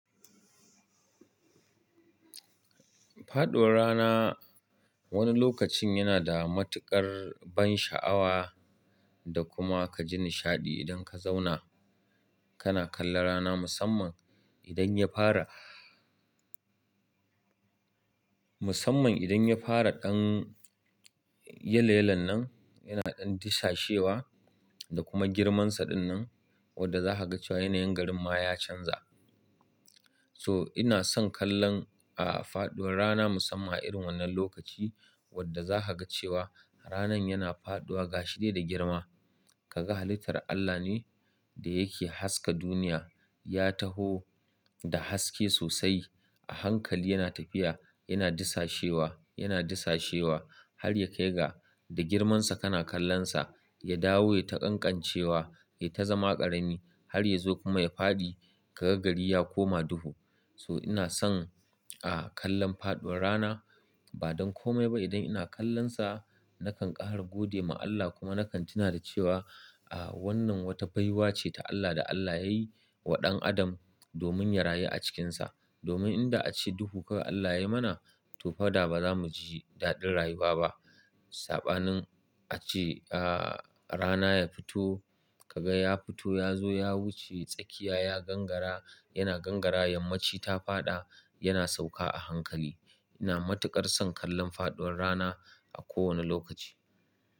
Faduwar rana wani lokacin yana da matuƙar ban sha'awa da kuma kaji nishaɗi idan ka zauna kana kallon rana musamman idan ya fara. Mussaman idan ya fara ɗan yalo yalon nan, yana ɗan disashewa da kuma girmansa ɗin nan wadda za ka ga cewa yanayin garin ma ya canza. So ina son kallon, ah, faduwar rana musamman a irin wannan lokaci wadda za ka ga cewa ranan yana faɗuwa gashi dai da girma. Ka ga halittar Allah ne da yake haska duniya, ya taho da haske sosai a hankali yana tafiya yana disashewa, yana disashewa har ya kai ga da girmansa kana kallonsa ya dawo ya ta ƙanƙancewa yai ta zama ƙarami har ya zo kuma ya faɗi ka ga gari ya koma duhu. So ina son, ah, kallon faduwar rana ba don ko komai ba idan ina kallonsa na kan ƙara gode ma Allah, kuma na kan tuna da cewa ah wannan wata baiwa ce ta Allah da Allah yayi wa dan Adam domin ya rayu a cikin ta domin in da a ce duhu kawai Allah yayi mana to fa da ba za mu ji daɗin rayuwa ba. Saɓanin a ce, ah, rana ya fito ka ga ya fito ya zo ya wuce tsakiya ya gangara yana gangara yammaci ta faɗa yana sauka a hankali. Ina matuƙar son kallon faduwar rana a kowane lokaci.